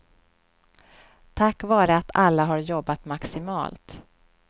Tack vare att alla har jobbat maximalt.